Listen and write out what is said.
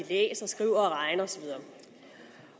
læser skriver og regner